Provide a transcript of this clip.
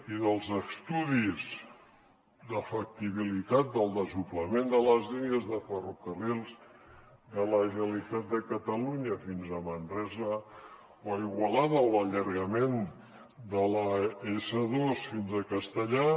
i dels estudis de factibilitat del desdoblament de les línies de ferrocarrils de la generalitat de catalunya fins a manresa o igualada o de l’allargament de l’s2 fins a castellar